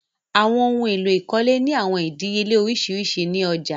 Àwọn ohun èlò ìkọ́lé ni awọn idìíyèlẹ̀ oriṣiríṣi ni ọ̀já.